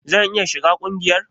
Zan iya shiga kungiyar?